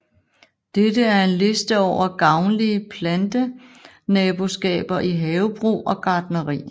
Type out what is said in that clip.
Dette er en liste over gavnlige Plantenaboskaber i havebrug og gartneri